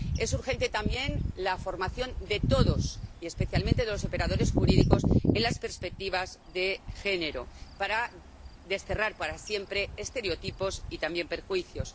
Es urgente también la formación de todos, y especialmente de los operadores jurídicos, en las perspectivas de género para desterrar para siempre estereotipos y también perjuicios.